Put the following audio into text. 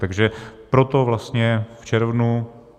Takže proto vlastně v červnu.